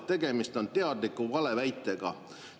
Tegemist on teadliku valeväitega.